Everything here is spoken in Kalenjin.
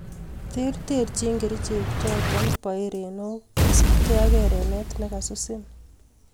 Terterchin keriche chotok poo erenook kosup gei ak erenet nekasusin